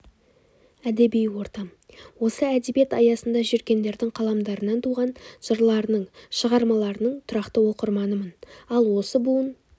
әдеби ортам осы әдебиет аясында жүргендердің қаламдарынан туған жырларының шығармаларының тұрақты оқырманымын ал осы буын